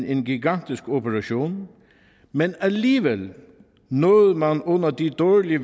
en gigantisk operation men alligevel nåede man under de dårlige